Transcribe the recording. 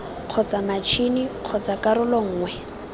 kgotsa matšhini kgotsa karolo nngwe